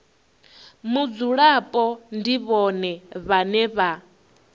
mudzulapo ndi vhone vhane vha